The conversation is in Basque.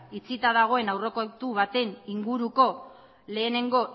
itxita dagoen aurrekontu baten inguruko lehenengo